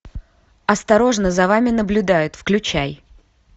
осторожно за вами наблюдают включай